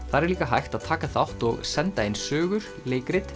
þar er líka hægt að taka þátt og senda inn sögur leikrit